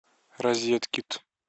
розеткед